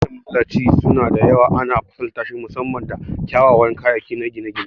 Gine-ginen masallatai sau da yawa ana fasaltashi musamman da kyawawan kayayyaki na gine-gine.